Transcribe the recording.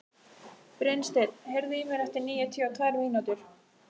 Brynsteinn, heyrðu í mér eftir níutíu og tvær mínútur.